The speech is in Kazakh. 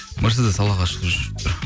мерседес аллаға шүкір жүріп тұр